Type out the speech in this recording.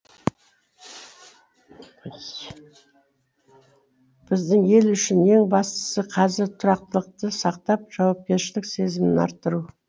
біздің ел үшін ең бастысы қазір тұрақтылықты сақтап жауапкершілік сезімін арттыру